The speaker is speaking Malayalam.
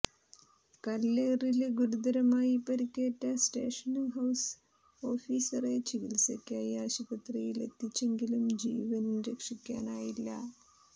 കല്ലേറില് ഗുരുതരമായി പരിക്കേറ്റ സ്റ്റേഷന് ഹൌസ് ഓഫീസറെ ചികിത്സയ്ക്കായി ആശുപത്രിയിലെത്തിച്ചെങ്കിലും ജീവന് രക്ഷിക്കാനായില്ല